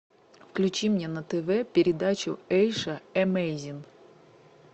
включи мне на тв передачу эйша эмейзинг